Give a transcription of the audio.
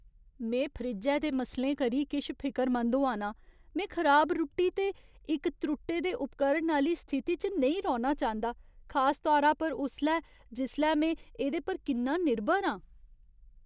में फ्रिज्जै दे मसलें करी किश फिकरमंद होआ नां, में खराब रुट्टी ते इक त्रुट्टे दे उपकरण आह्‌ली स्थिति च नेईं रौह्ना चांह्दा, खास तौरा पर उसलै जिसलै में एह्दे पर किन्ना निर्भर आं।